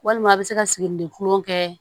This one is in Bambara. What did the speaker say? Walima a bɛ se ka siginiden kulon kɛ